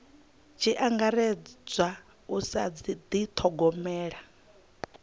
tshi angaredzwa u sa dithogomela